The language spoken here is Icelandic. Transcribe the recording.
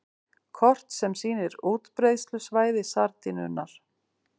Kort sem sýnir útbreiðslusvæði sardínunnar.